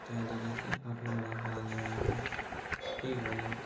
तैयाली जैसे काफी बड़ा हॉल है। यहाँ पर ऐ भाई लोग --